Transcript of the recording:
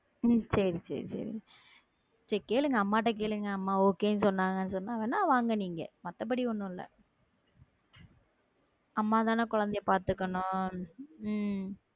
ஹம் செரி செரி கேளுங்க அம்மா கிட்ட கேளுங்க அம்மா okay ன்னு சொன்னாங்க சொன்னாங்கன்னா வாங்க நீங்க மத்தபடி ஒண்ணும் இல்ல அம்மாதானே குழந்தையை பார்த்துக்கணும் உம்